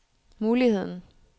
muligheden